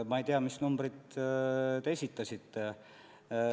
Ma ei tea, mis numbri te esitasite.